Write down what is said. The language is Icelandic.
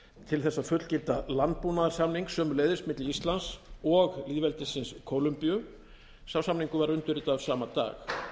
til þess að fullgilda landbúnaðarsamning sömuleiðis milli íslands og lýðveldisins kólumbíu sá samningur var undirritaður sama dag